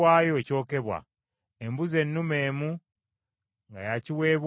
embuzi ennume emu nga ya kiweebwayo olw’ekibi;